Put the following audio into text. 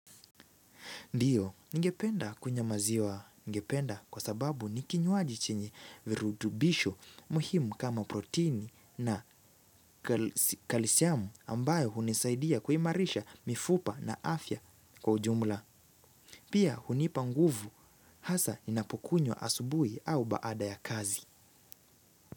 Ndio, ningependa kunywa maziwa ningependa kwa sababu ni kinywaji chenye virutubisho muhimu kama proteini na kalsiamu ambayo hunisaidia kuimarisha mifupa na afya kwa ujumla. Pia hunipa nguvu hasa ninapukunywa asubuhi au baada ya kazi.